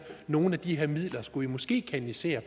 nogle af de her midler skulle de måske kanalisere